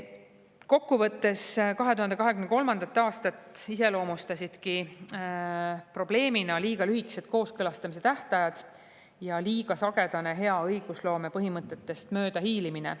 Kokku võttes iseloomustasid 2023. aastat probleemina liiga lühikesed kooskõlastamise tähtajad ja liiga sagedane hea õigusloome põhimõtetest möödahiilimine.